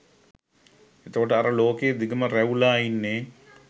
එතකොට අර ලෝකෙ දිගම ‍රැවුලා ඉන්නේ?